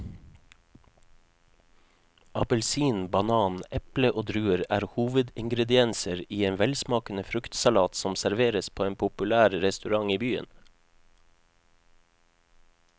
Appelsin, banan, eple og druer er hovedingredienser i en velsmakende fruktsalat som serveres på en populær restaurant i byen.